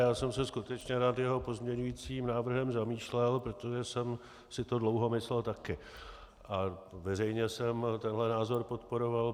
Já jsem se skutečně nad jeho pozměňujícím návrhem zamýšlel, protože jsem si to dlouho myslel taky a veřejně jsem tento názor podporoval.